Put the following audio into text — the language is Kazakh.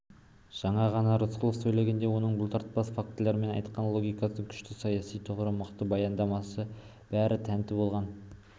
жаңа ғана рысқұлов сөйлегенде оның бұлтартпас фактілермен айтқан логикасы күшті саяси тұғыры мықты баяндамасына бәрі тәнті болған